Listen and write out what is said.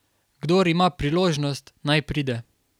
Kdor ima priložnost, naj pride.